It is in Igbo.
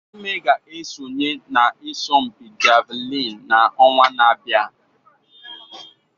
Eme ga-esonye n'asọmpi Javelin n'ọnwa na-abịa.